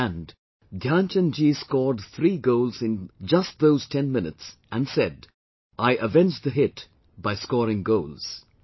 And, Dhyan Chand ji scored three goals in just those ten minutes and said "I avenged the hit by scoring goals"